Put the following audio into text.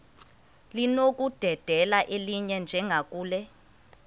linokudedela elinye njengakule